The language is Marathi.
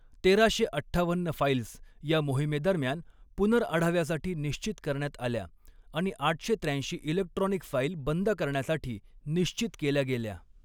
तेराशे अठ्ठावन्न फाईल्स या मोहिमेदरम्यान पुनर्आढाव्यासाठी निश्चित करण्यात आल्या आणि आठशे त्र्याऐंशी इलेक्ट्रॉनिक फाईल बंद करण्यासाठी निश्चित केल्या गेल्या.